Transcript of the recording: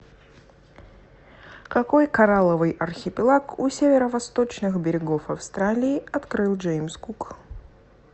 какой коралловый архипелаг у северо восточных берегов австралии открыл джеймс кук